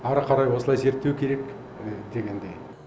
ары қарай осылай зерттеу керек дегендей